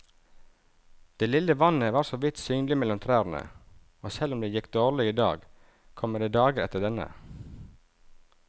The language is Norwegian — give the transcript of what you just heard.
Det lille vannet var såvidt synlig mellom trærne, og selv om det gikk dårlig i dag, kommer det dager etter denne.